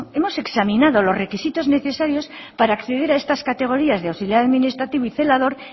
hemos examinado los requisitos necesarios para acceder a estas categorías de auxiliar administrativo y celador